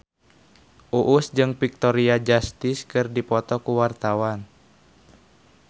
Uus jeung Victoria Justice keur dipoto ku wartawan